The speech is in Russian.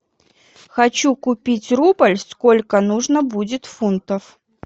хочу купить рубль сколько нужно будет фунтов